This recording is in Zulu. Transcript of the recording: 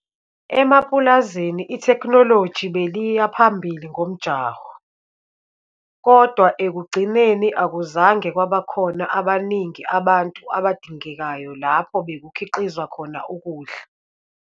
Emapulazini itheknoloji beliya phambili ngomjaho - kodwa ekugcineni akuzange kwabakhona abaningi abantu abadingekayo lapho bekukhiqizwa khona ukudla.